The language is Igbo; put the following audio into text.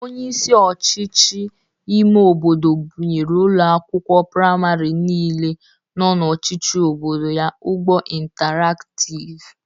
Onyeisi ọchịchị ime obodo bụnyere ụlọ akwụkwụ prịmarị niile n'ọchịchị obodo ya ụgbọ intaraktiv.